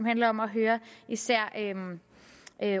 handler om at høre især